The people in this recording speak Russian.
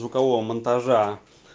звукового монтажа